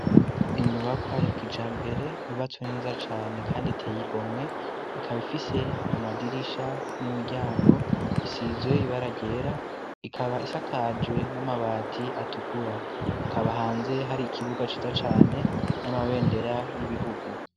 Inyubakwayakija mpere yubatswe neza cane, kandi teye igomwe ikaba ifise amadirisha n'imiryango bisizwe ibaragera ikaba isakajwe n'amabati atukura akaba ahanze hari ikibuga ciza cane n'amabendera y'ibihugu.